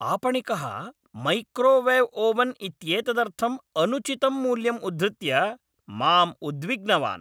आपणिकः microwave oven इत्येतदर्थम् अनुचितं मूल्यं उद्धृत्य मां उद्विग्नवान्।